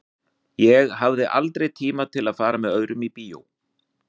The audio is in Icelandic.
Ég hafði aldrei tíma til að fara með öðrum í bíó.